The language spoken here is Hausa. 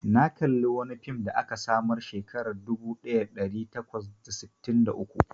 Na kalla wani fim da aka samar Shekara dubu daya da dari takwas da sitin da uku.